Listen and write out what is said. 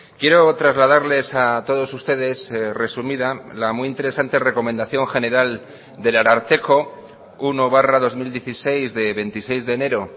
quiero trasladarles a todos ustedes resumida la muy interesante recomendación general del ararteko uno barra dos mil dieciséis de veintiséis de enero